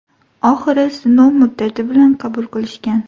Oxiri sinov muddati bilan qabul qilishgan.